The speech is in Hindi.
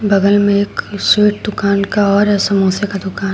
बगल में एक स्वीट दुकान का और समोसे का दुकान--